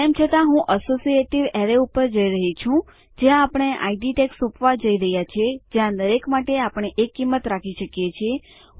તેમ છતાં હું અસોસીએટીવ અરે ઉપર જઈ રહી છું જ્યાં આપણે આઈડી ટેગ સોપવા જઈ રહ્યા છીએ જ્યાં દરેક માટે આપણે એક કિંમત રાખી શકીએ છીએ